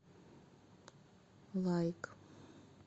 лайк